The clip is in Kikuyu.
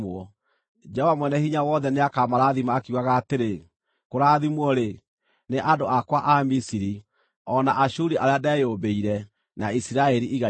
Jehova Mwene-Hinya-Wothe nĩakamarathima akiugaga atĩrĩ, “Kũrathimwo-rĩ, nĩ andũ akwa a Misiri, o na Aashuri arĩa ndeyũmbĩire, na Isiraeli igai rĩakwa.”